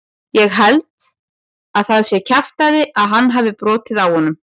Ég held að það sé kjaftæði að hann hafi brotið á honum.